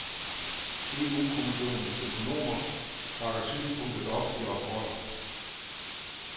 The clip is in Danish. EUkommissionens økonomer bakker synspunktet op i rapporter.